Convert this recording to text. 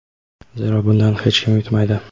Zero bundan hech kim yutmaydi!.